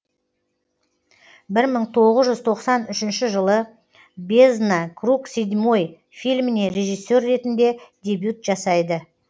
бір мың тоғыз жүз тоқсан үшінші жылы бездна круг седьмой фильміне режиссер ретінде дебют жасайды